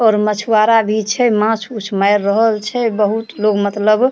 और मछुवारा भी छे माछ-उछ मार रहल छे बहुत लोग मतलब --